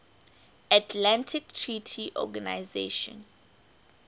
atlantic treaty organisation